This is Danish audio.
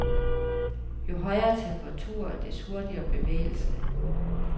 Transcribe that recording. Jo højere temperatur, des hurtigere bevægelse.